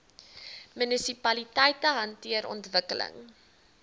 munisipaliteite hanteer ontwikkeling